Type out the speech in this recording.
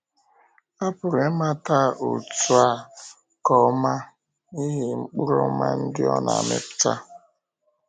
A pụrụ ịmata òtù a nke ọma n’ihi mkpụrụ ọma ndị ọ na-amịpụta.